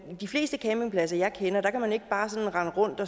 de fleste campingpladser jeg kender kan man ikke bare rende rundt